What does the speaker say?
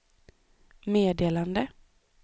meddelade